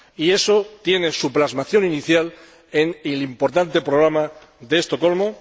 Y eso tiene su plasmación inicial en el importante Programa de Estocolmo.